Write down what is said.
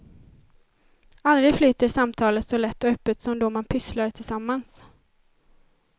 Aldrig flyter samtalet så lätt och öppet som då man pysslar tillsammans.